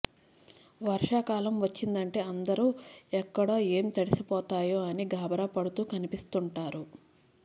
వర్షాకాలం వచ్చిదంటే అందరూ ఎక్కడ ఏం తడిసిపోతాయో అని గాభరా పడుతూ కనిపిస్తుంటారు